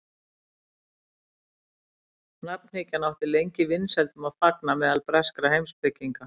nafnhyggjan átti lengi vinsældum að fagna meðal breskra heimspekinga